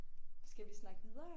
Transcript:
Skal vi snakke videre?